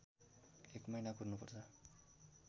एक महिना कुर्नुपर्छ